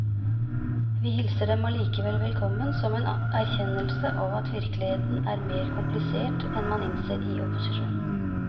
Vi hilser dem allikevel velkommen som en erkjennelse av at virkeligheten er mer komplisert enn man innser i opposisjon.